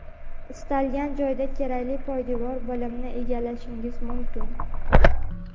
istalgan joyda kerakli poydevor bilimni egallashingiz mumkin.